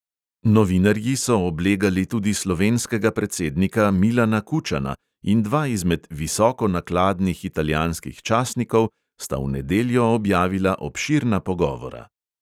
Novinarji so oblegali tudi slovenskega predsednika milana kučana in dva izmed visokonakladnih italijanskih časnikov sta v nedeljo objavila obširna pogovora.